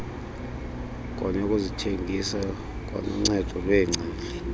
neyokuzithengisa kwanoncedo lweengcali